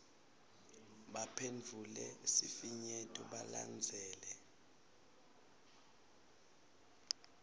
baphendvule sifinyeto balandzele